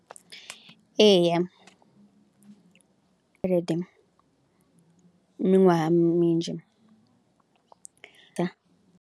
Eya tshelede miṅwaha minzhi dza.